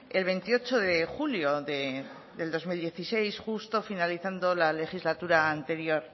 el veintiocho de julio del dos mil dieciséis justo finalizando la legislatura anterior